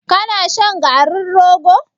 Ka na shan garin rogo?